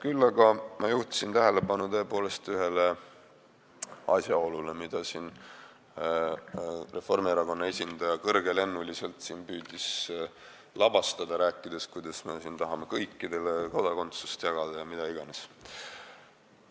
Küll aga ma juhtisin tõepoolest tähelepanu ühele asjaolule, mida Reformierakonna esindaja püüdis siin kõrgelennuliselt lavastada, rääkides, kuidas me tahame kõikidele kodakondsust jagada ja mida iganes.